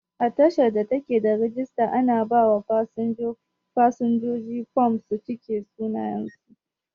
A tashar da take da rijister, ana ba wa fasinja fom su cike sunayen su